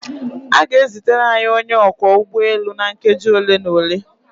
A ga-ezitere anyị onye ọkwọ ụgbọelu na nkeji ole na ole.